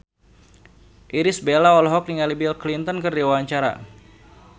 Irish Bella olohok ningali Bill Clinton keur diwawancara